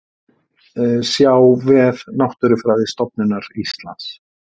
Sjá vef Náttúrufræðistofnunar Íslands